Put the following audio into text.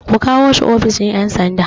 Ku kawo shi ofishin ƴan sanda